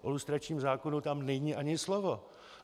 O lustračním zákonu tam není ani slovo.